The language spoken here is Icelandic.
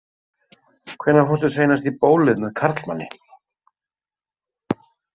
Hvenær fórstu seinast í bólið með karlmanni?